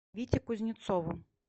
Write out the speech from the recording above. вите кузнецову